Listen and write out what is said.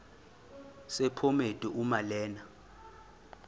sephomedi uma lena